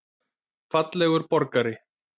Fallegur borgari?